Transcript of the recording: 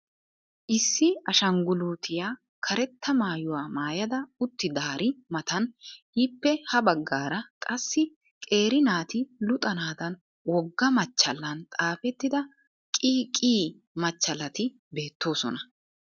Issi ashangguluutiya karetta maayuwa maayada uttidaari matan ippe ha baggaara qassi qeeri naati luxanaadan wogga machchallan xaafettida QQ machchallati beettoosona.